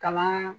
Kalan